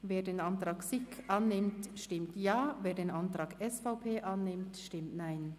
Wer den Antrag SiK annimmt, stimmt Ja, wer den Antrag SVP annimmt, stimmt Nein.